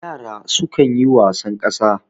yara sukan ya wasan kasa